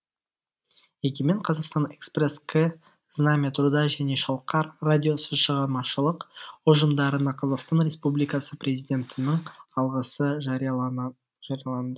егемен қазақстан экспресс к знамя труда және шалқар радиосы шығармашылық ұжымдарына қазақстан республикасы президентінің алғысы жарияланды